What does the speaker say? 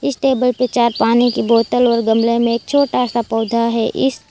इस टेबल पे चार पानी की बोतल और गमले में एक छोटा सा पौधा है इस--